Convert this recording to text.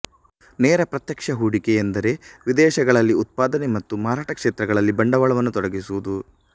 ನೇರ ಪ್ರತ್ಯಕ್ಷ ಹೂಡಿಕೆ ಎಂದರೆ ವಿದೇಶಗಳಲ್ಲಿ ಉತ್ಪಾದನೆ ಮತ್ತು ಮಾರಾಟ ಕ್ಷೇತ್ರಗಳಲ್ಲಿ ಬಂಡವಾಳವನ್ನು ತೊಡಗಿಸುವುದು